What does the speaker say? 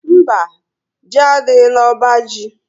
Mba, Ji adịghị na ọbá jị